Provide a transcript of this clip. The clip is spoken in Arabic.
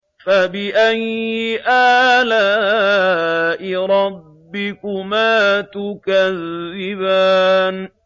فَبِأَيِّ آلَاءِ رَبِّكُمَا تُكَذِّبَانِ